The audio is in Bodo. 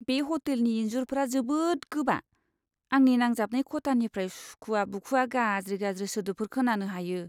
बे ह'टेलनि इनजुरफोरा जोबोद गोबा, आंनि नांजाबनाय खथानिफ्राय सुखुवा बुखुवा गाज्रि गाज्रि सोदोबफोर खोनानो हायो!